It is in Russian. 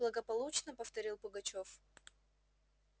благополучно повторил пугачёв